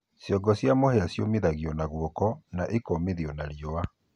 cĩongo cĩa mũhĩa cĩũnagũo na gũoko na ĩkomĩthĩo na rĩũa